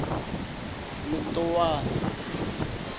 letowana